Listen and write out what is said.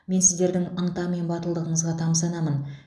мен сіздердің ынта мен батылдығыңызға тамсанамын